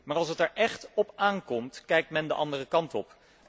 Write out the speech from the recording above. Maar als het er echt op aan komt, kijkt men de andere kant op.